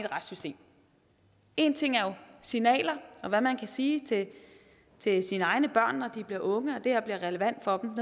retssystem én ting er jo signaler og hvad man kan sige til sine egne børn når de bliver unge og det her bliver relevant for dem